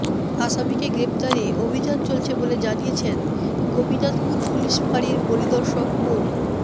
আসামিকে গ্রেপ্তারে অভিযান চলছে বলে জানিয়েছেন গোপীনাথপুর পুলিশ ফাঁড়ির পরিদর্শক মো